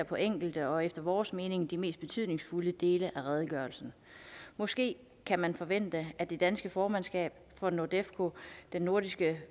på enkelte og efter vores mening de mest betydningsfulde dele af redegørelsen måske kan man forvente at det danske formandskab for nordefco den nordiske